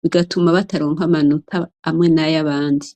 bigatuma bataronka amanota amwe n'ayabandi.